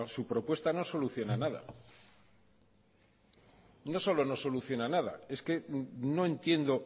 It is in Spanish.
su propuesta no soluciona nada no solo no soluciona nada es que no entiendo